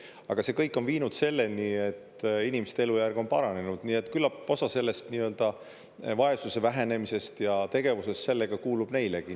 Aga see kõik on viinud selleni, et inimeste elujärg on paranenud, nii et küllap osa sellest nii-öelda vaesuse vähenemisest ja tegevusest sellega kuulub neilegi.